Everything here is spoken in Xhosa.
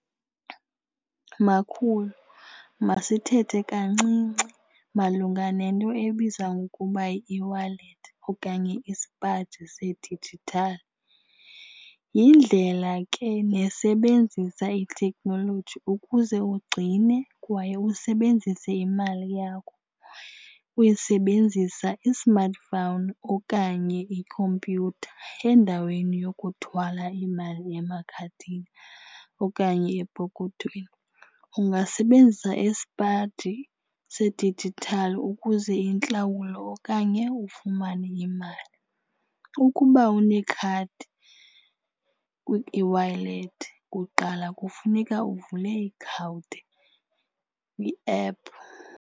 Makhulu, masithethe kancinci malunga nento ebizwa ngokuba yi-eWallet okanye isipaji sedijithali. Yindlela ke nesebenzisa ithekhnoloji ukuze ugcine kwaye usebenzise imali yakho usebenzisa i-smartphone okanye ikhompyutha endaweni yokuthwala imali emakhadini okanye epokothweni. Ungasebenzisa isipaji sedijithali ukuze intlawulo okanye ufumane imali. Ukuba unekhadi kwi-eWallet kuqala kufuneka uvule kwi-app.